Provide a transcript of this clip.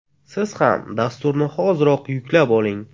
Siz ham dasturni hoziroq yuklab oling !